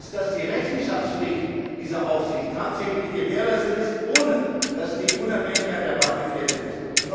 Entscheidend ist, dass die Rechenschaftspflicht dieser Aufsicht tatsächlich gewährleistet ist, ohne dass die Unabhängigkeit der Bank gefährdet ist.